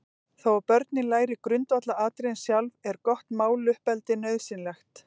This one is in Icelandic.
Þó að börnin læri grundvallaratriðin sjálf, er gott máluppeldi nauðsynlegt.